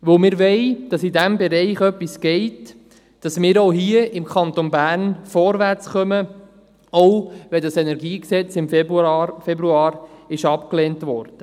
Denn wir wollen, dass sich in diesem Bereich etwas bewegt, dass wir auch hier im Kanton Bern vorwärtskommen, auch wenn das KEnG im Februar abgelehnt wurde.